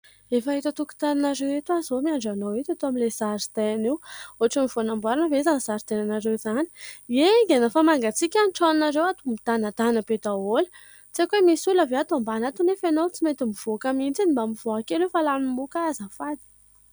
Efa eto an-tokotaninareo eto zaho zao miandry anao eto, eto amin'ilay zaridaina io. Ohatriny vao namboarina ve izany zaridainanareo izany. E! Aingana fa mangantsika ny tranonareo ato midanadana be daholo. Tsy aiko hoe misy olona ve ato ambany ato nefa ianao tsy mety mivoaka mihitsy. Mba mivoaha kely hoe fa lanin'ny moka zaho azafady.